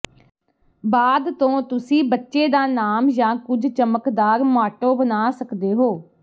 ਬਾਅਦ ਤੋਂ ਤੁਸੀਂ ਬੱਚੇ ਦਾ ਨਾਮ ਜਾਂ ਕੁਝ ਚਮਕਦਾਰ ਮਾਟੋ ਬਣਾ ਸਕਦੇ ਹੋ